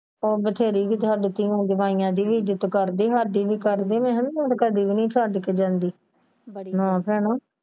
ਉਹ ਬਥੇਰੀ ਕੀਤੇ ਹਾਡੇ ਸਾਡੇ ਵੀ ਕਰਦੇ ਤੇ ਮੈਂ ਤੇ ਕਦੀ ਵੀ ਨਹੀਂ ਛੱਡ ਕੇ ਜਾਂਦੀ ਨਾ ਭੈਣਾ।